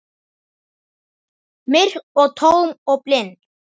Myrk og tóm og blind.